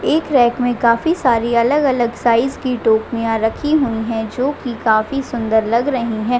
एक रैक में काफी अलग-अलग साइज़ की टोपिया रखी हुई है जो की काफी सुंदर लग रही है।